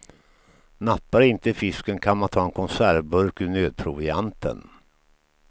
Nappar inte fisken kan man ta en konservburk ur nödprovianten.